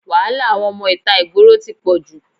Wàhálà àwọn ọmọ ìta ìgboro tí pọ̀jù.